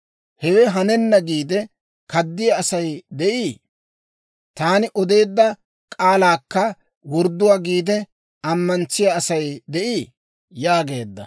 «Hewe hanenna giide, kaddiyaa Asay de'ii? Taani odeedda k'aalaakka wordduwaa giide, ammantsiyaa Asay de'ii?» yaageedda.